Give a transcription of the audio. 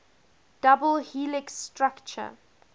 double helix structure